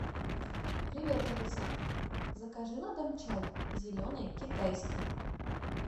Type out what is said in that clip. привет алиса закажи на дом чай зеленый китайский